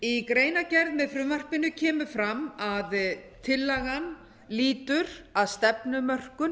í greinargerð með frumvarpinu kemur fram að tillagan lýtur að stefnumörkun